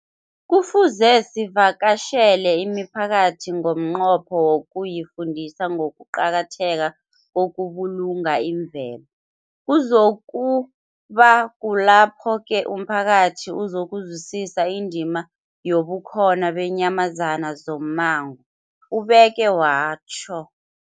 Kufuze sivakatjhele imiphakathi ngomnqopho wokuyifundisa ngokuqakatheka kokubulunga imvelo. Kuzoku ba kulapho-ke umphakathi uzokuzwisisa indima yobukhona beenyamazana zommango, ubeke watjho.